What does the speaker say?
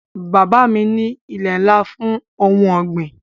Bàbá mi ní ilé ńlá fún ohun ọ̀gbìn